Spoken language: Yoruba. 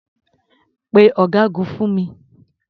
Pe ọ̀gágun fún mi.